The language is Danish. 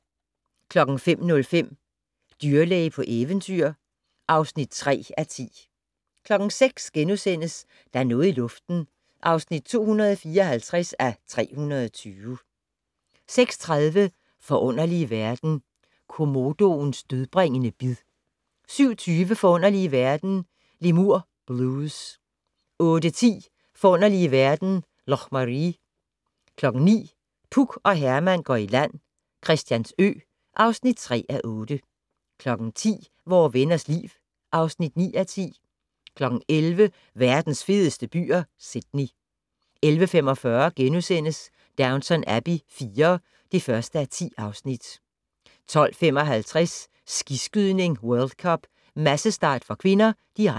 05:05: Dyrlæge på eventyr (3:10) 06:00: Der er noget i luften (254:320)* 06:30: Forunderlige verden - Komodoens dødbringende bid 07:20: Forunderlige verden - Lemur Blues 08:10: Forunderlige verden - Loch Maree 09:00: Puk og Herman går i land - Christiansø (3:8) 10:00: Vore Venners Liv (9:10) 11:00: Verdens fedeste byer - Sydney 11:45: Downton Abbey IV (1:10)* 12:55: Skiskydning: World Cup . massestart (k), direkte